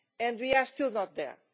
And we are still not there.